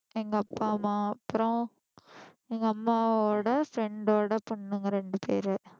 எங்க அப்பா அம்மா அப்புறம் எங்க அம்மாவோட friend ஓட பொண்ணுங்க ரெண்டு பேரு